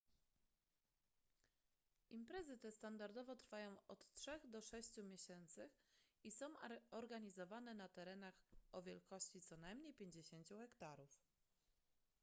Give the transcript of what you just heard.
imprezy te standardowo trwają od trzech do sześciu miesięcy i są organizowane na terenach o wielkości co najmniej 50 hektarów